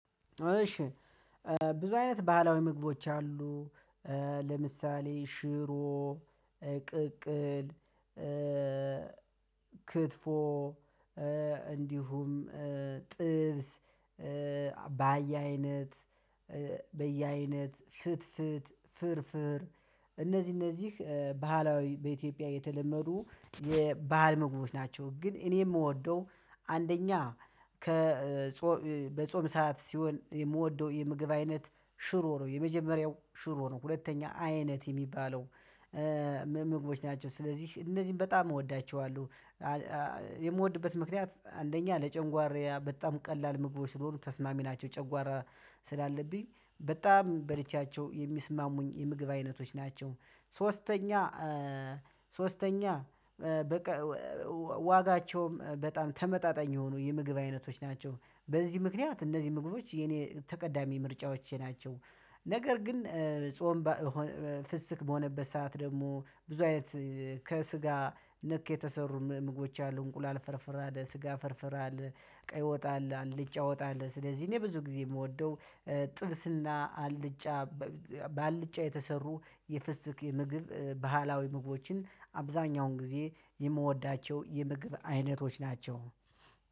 እሺ ብዙ አይነት ባህላዊ ምግቦች አሉ። ለምሳሌ ሽሮ፣ ቅቅል፣ ክትፎ እንዲሁም ጥብስ ባየ አይነት በየአይነት ፍትፍት ፍርፍር እነዚህ እነዚህ ባህላዊ በኢትዮጵያ የተለመዱ የባህል ምግቦቶች ናቸው። ግን እኔ የምወደው አንደኛ ከ በጾም ሰዓት ሲሆን የምወደው የምግብ አይነት ሽሮ ነው የመጀመሪያው ሽሮ ነው። ሁለተኛ አይነት የሚባለው ምግቦች ናቸው ስለዚህ እነዚህን በጣም እወዳቸዋለሁ። የምወድበት ምክንያት አንደኛ ለጨጓራዬ በጣም ቀላል ምግቦች ስለሆኑ ተስማሚ ናቸው። ጨጓራ ስላለብኝ በጣም በልቻቸው የሚስማሙኝ የምግብ አይነቶች ናቸው። ሶስተኛ ሶስተኛ በቃ ዋጋቸውም በጣም ተመጣጣኝ የሆኑ የምግብ አይነቶች ናቸው። በዚህ ምክንያት እነዚህ ምግቦች የኔ ተቀዳሚ ምርጫዎቼ ናቸው። ነገር ግን ጾም ፍስክ በሆነበት ሰዓት ደግሞ ብዙ አይነት ከስጋ ነክ የተሰሩ ምግቦች አሉ እንቁላል ፍርፍር አለ ስጋ ፍርፍር አለ። ቀይ ወጥ አለ አልጫ ወጥ አለ ስለዚህ እኔ ብዙ ጊዜ የምወደው ጥብስና አልጫ ባልጫ የተሰሩ የፍስስክ የምግብ ባህላዊ ምግቦችን አብዛኛውን ጊዜ የምወዳቸው የምግብ አይነቶች ናቸው።